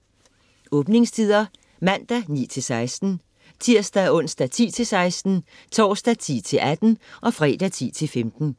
Åbningstider: Mandag: 9-16 Tirsdag - onsdag: 10-16 Torsdag: 10-18 Fredag: 10-15